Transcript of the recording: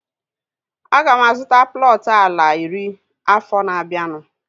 Aga m azụta plọtu ala iri afọ na-abianu